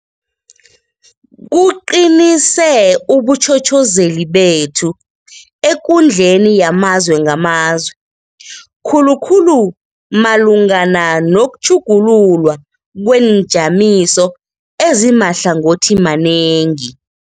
Kuqinise ubutjhotjhozeli bethu ekundleni yamazwe ngamazwe, khulukhulu malungana nokutjhugululwa kweenjamiso ezimahlangothimanengi.